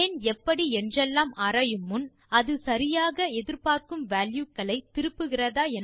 ஏன் எப்படி என்றெல்லாம் ஆராயும் முன் அது சரியாக எதிர்பார்க்கும் வால்யூ களை திருப்புகிறதா